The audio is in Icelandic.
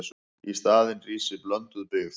Í staðinn rísi blönduð byggð.